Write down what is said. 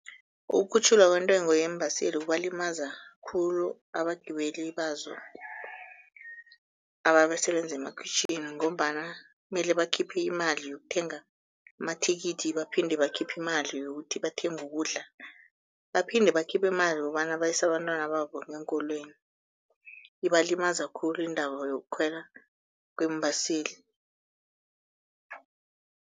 Ukukhutjhulwa kwentengo yeembaseli kubalimaza khulu abagibeli bazo ababasebenzi emakhitjhwini ngombana mele bakhiphe imali yokuthenga amathikithi baphinde bakhiphe imali yokuthi bathenge ukudla, baphinde bakhiphe imali yokobana bayise abantwana babo ngeenkolweni, ibalimaza khulu indaba yokukhwela kweembaseli.